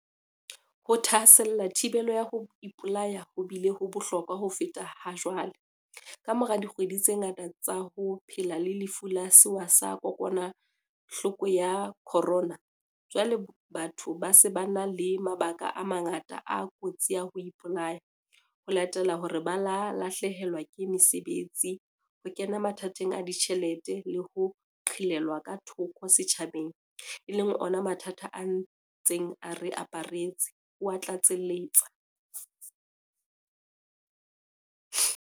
"Ho thahasella thibelo ya ho ipolaya ho bile ho bohlokwa ho feta hajwale, kamora dikgwedi tse ngata tsa ho phela le Lefu la Sewa sa Kokwanahloko ya Corona, jwale batho ba se ba na le mabaka a mangata a kotsi ya ho ipolaya, ho latela hore ba lahlehelwe ke mesebetsi, ho kena mathateng a ditjhelete le ho qhelelwa ka thoko setjhabeng, e leng ona mathata a ntseng a re aparetse," o a tlatseletsa.